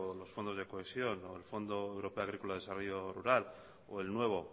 los fondos de cohesión o el fondo europeo agrícola de desarrollo rural o el nuevo